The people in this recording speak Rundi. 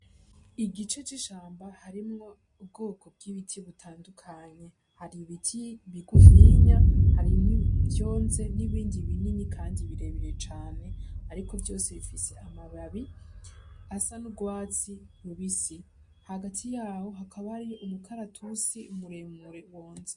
Igice c'ishamba harimwo ubwoko bw'ibiti bitandukanye. Hari ibiti bigufinya, harimwo ivyonze, n'ibindi binini kandi birebire cane; ariko vyose bifise amababi asa n'urwatsi rubisi. Hagati y'aho hakaba hariyo umukaratusi muremure wonze.